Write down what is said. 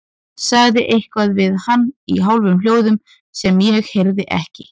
Sagði eitthvað við hann í hálfum hljóðum sem ég heyrði ekki.